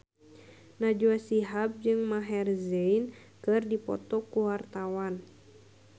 Najwa Shihab jeung Maher Zein keur dipoto ku wartawan